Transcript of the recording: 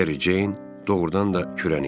Meri Ceyn doğurdan da kürən idi.